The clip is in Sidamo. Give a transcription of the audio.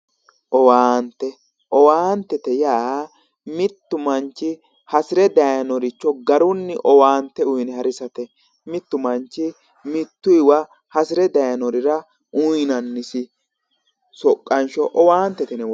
Owaante owaantete yaa mittu manchi hasire dayinoricho garunni owaante uyine harisate mittu manchi mittuywa hasire daynorira uyinannisi soqqansho owaantete yine woshshinanni